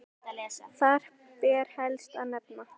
Þar ber helst að nefna